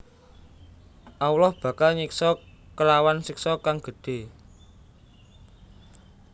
Allah bakal nyiksa kelawan siksa kang gedhé